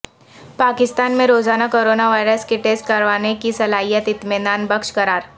پاکستان میں روزانہ coronavirus کے ٹیسٹ کروانے کی صلاحیت اطمینان بخش قرار